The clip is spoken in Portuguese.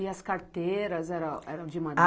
E as carteiras era eram de madeira?